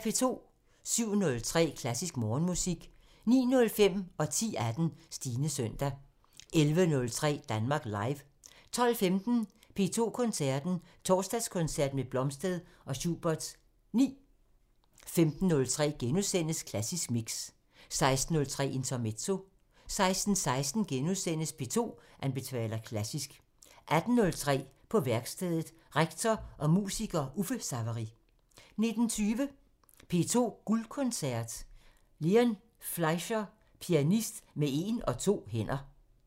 07:03: Klassisk Morgenmusik 09:05: Stines søndag 10:18: Stines søndag 11:03: Danmark Live 12:15: P2 Koncerten – Torsdagskoncert med Blomstedt og Schuberts 9 15:03: Klassisk Mix * 16:03: Intermezzo 16:18: P2 anbefaler klassisk * 18:03: På værkstedet – Rektor og musiker Uffe Savery 19:20: P2 Guldkoncerten – Leon Fleisher – pianist med en og to hænder